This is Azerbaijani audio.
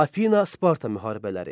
Afina-Sparta müharibələri.